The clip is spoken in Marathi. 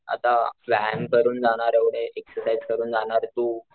बट आता व्यायाम करून जाणार एवढे एक्सरसाईस करून जाणार तू,